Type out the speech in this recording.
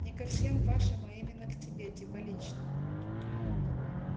не ко всем вашим а именно к тебе типа лично